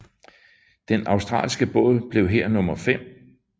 Den australske båd blev her nummer fem